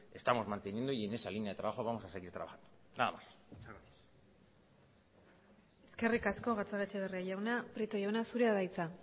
estamos manteniendo y en esa línea de trabajo vamos a seguir trabajando nada más eskerrik asko gatzagaetxebarria jauna prieto jauna zurea da hitza